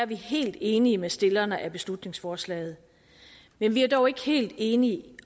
vi helt enige med stillerne af beslutningsforslaget men vi er dog ikke helt enige